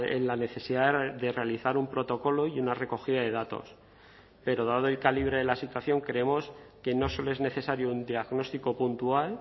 en la necesidad de realizar un protocolo y una recogida de datos pero dado el calibre de la situación creemos que no solo es necesario un diagnóstico puntual